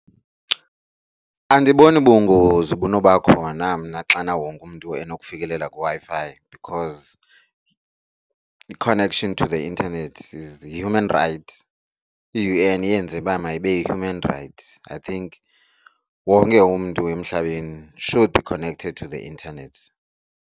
Andiboni bungozi bunobakhona mna xana wonke umntu enokufikelela kwiWi-Fi because i-connection to the internet is human right. I-U_N iyenze uba mayibe yi-human right. I think wonke umntu emhlabeni should be connected to the internet.